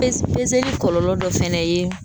kɔlɔlɔ dɔ fɛnɛ ye